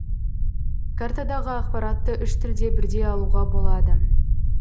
картадағы ақпаратты үш тілде бірдей алуға болады